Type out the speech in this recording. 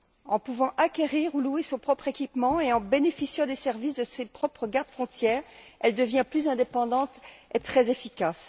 En pouvant acquérir ou louer son propre équipement et en bénéficiant des services de ses propres garde frontières, elle devient plus indépendante et très efficace.